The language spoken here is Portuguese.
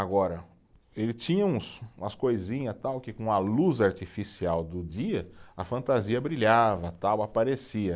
Agora, ele tinha uns, umas coisinha tal, que com a luz artificial do dia, a fantasia brilhava tal, aparecia.